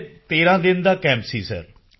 ਇਹ 13 ਦਿਨ ਦਾ ਕੈਂਪ ਸੀ ਸਰ